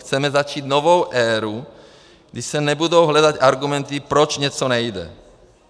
Chceme začít novou éru, kdy se nebudou hledat argumenty, proč něco nejde.